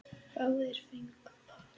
Báðir fengu par.